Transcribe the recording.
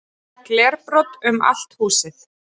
Glerbrot um allt húsið